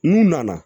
N'u nana